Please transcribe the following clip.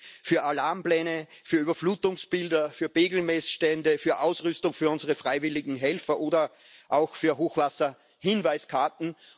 Oft fehlt das Geld für Alarmpläne, für Überflutungsbilder, für Pegelmessstände, für Ausrüstung für unsere freiwilligen Helfer oder auch für Hochwasserhinweiskarten.